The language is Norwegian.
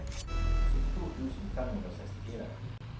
syttito tusen fem hundre og sekstifire